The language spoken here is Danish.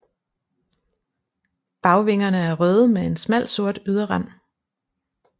Bagvingerne er røde med en smal sort yderrand